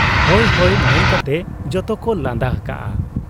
ᱦᱚᱭ ᱦᱚᱭ' ᱢᱮᱱᱠᱟᱛᱮ ᱡᱚᱛᱚᱠᱚ ᱞᱟᱸᱫᱟ ᱟᱠᱟᱜ ᱟ ᱾